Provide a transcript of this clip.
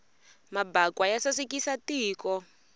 mabakwa ya sasekisa tiko